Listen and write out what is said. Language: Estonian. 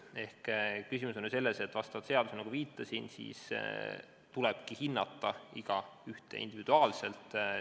Küsimus on selles, et vastavalt seadusele, nagu ma viitasin, tulebki hinnata igaühte individuaalselt.